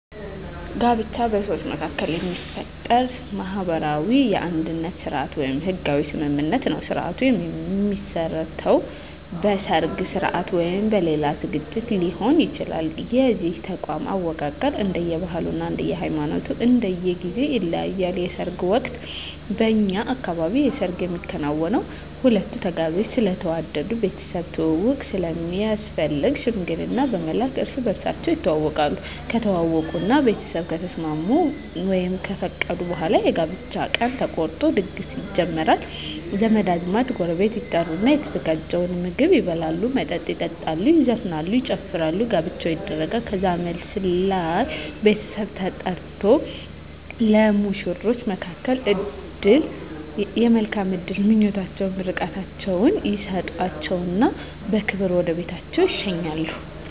ጋብቻ በሰዎች መካከል የሚፈጠር ማህበራዊ የአንድነት ስርአት ወይም ህጋዊ ስምምነት ነዉ ስርአቱ የሚመሰረተዉ በሰርግ ስርአት ወይም በሌላ ዝግጅት ሊሆን ይችላል የዚህ ተቋም አወቃቀር እንደየ ባህሉ እንደየ ሃይማኖቱ እና እንደየ ጊዜዉ ይለያያል በሰርግ ወቅት በእኛ አካባቢ የሰርግ የሚከናወነዉ ሁለቱ ተጋቢዎች ስለተዋደዱ ቤተሰብ ትዉዉቅ ስለሚያስፈልግ ሽምግልና በመላክ እርስ በርሳቸዉ ይተዋወቃሉ ከተዋወቁእና ቤተሰብ ከተስማሙ ወይም ከፈቀዱ በኋላ የጋብቻ ቀን ተቆርጦ ድግስ ይጀመራል ዘመድ አዝማድ ጎረቤት ይጠሩና የተዘጋጀዉን ምግብ ይበላሉ መጠጥ ይጠጣሉ ይዘፈናል ይጨፈራል ጋብቻዉ ይደረጋል ከዛም መልስ ላይ ቤተሰብ ተጠርቆ ለሙሽሮች የመልካም እድል ምኞታቸዉን ምርቃታቸዉን ይሰጧቸዉና በክብር ወደ ቤታቸዉ ይሸኛሉ